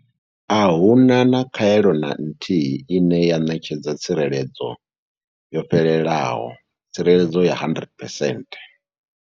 Ahuna khaelo na nthihi ine ya ṋetshedza tsireledzo yo fhelelaho tsireledzo ya 100 percent.